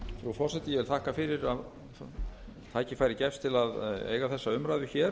forseti ég vil þakka fyrir að tækifæri gefst til að eiga þessa